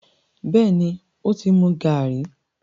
béèni o tí mú Gírèèpù?